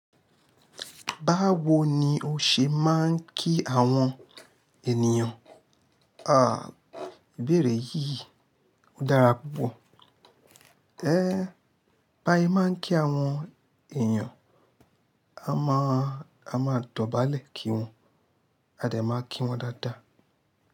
Báwo ni o ṣe máa ń kí àwọn ènìyàn? Ìbéèrè yìí dára púpọ̀. Bá ṣe máa ń kí àwọn èèyàn, a máa dọ̀bálẹ̀ kí wọn, a de máa kí wọn dáadáa.